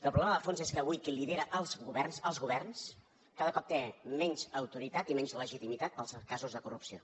el problema de fons és que avui qui lidera els governs els governs cada cop té menys autoritat i menys legitimitat pels casos de corrupció